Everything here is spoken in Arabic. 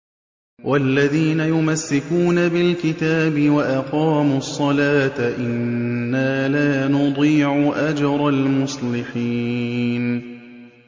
وَالَّذِينَ يُمَسِّكُونَ بِالْكِتَابِ وَأَقَامُوا الصَّلَاةَ إِنَّا لَا نُضِيعُ أَجْرَ الْمُصْلِحِينَ